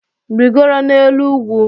Rigoro n'elu ugwu